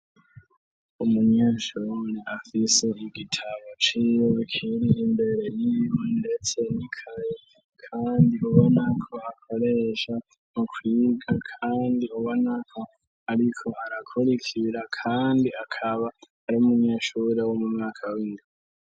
Umunyeshawemeni afise igitamo ciro akiriye imbere y'iribunire te nikayi, kandi ubona kuhakoresha ukwirwa, kandi ubanaka, ariko harakora ikibira, kandi akaba ari umunyeshuri wo mu mwaka w'indi.